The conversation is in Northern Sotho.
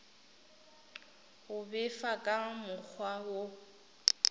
go befa ka mokgwa wo